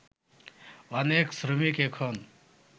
অনেক শ্রমিক এখন